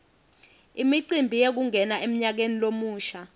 imicimbi yekungena emnyakeni lomusha